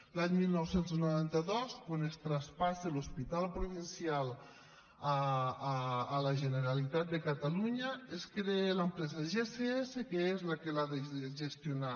l’any dinou noranta dos quan es traspassa l’hospital provincial a la generalitat de catalunya es crea l’empresa gss que és la que l’ha de gestionar